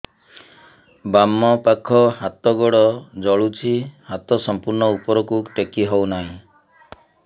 ବାମପାଖ ହାତ ଗୋଡ଼ ଜଳୁଛି ହାତ ସଂପୂର୍ଣ୍ଣ ଉପରକୁ ଟେକି ହେଉନାହିଁ